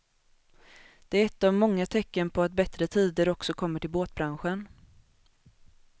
Det är ett av många tecken på att bättre tider också kommer till båtbranschen.